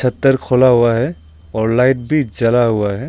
Shutter खुला हुआ है और लाइट भी जल हुआ है।